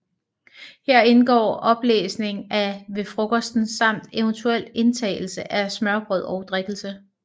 Her indgår oplæsning af Ved Frokosten samt eventuel indtagelse af smørrebrød og drikkelse